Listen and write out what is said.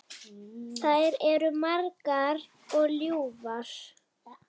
Þær eru margar og ljúfar.